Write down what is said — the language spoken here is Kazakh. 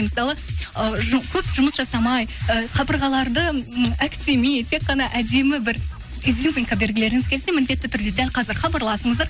мысалы ы көп жұмыс жасамай ы қабырғаларды м әктемей тек қана әдемі бір изюминка бергілеріңіз келсе міндетті түрде дәл қазір хабарласыңыздар